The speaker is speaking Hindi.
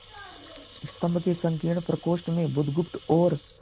स्तंभ के संकीर्ण प्रकोष्ठ में बुधगुप्त और